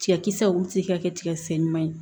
Tigɛ kisɛ wuji ka kɛ tigɛkisɛ ɲuman ye